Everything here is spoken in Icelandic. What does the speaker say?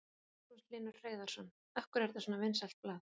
Magnús Hlynur Hreiðarsson: Af hverju er þetta svona vinsælt blað?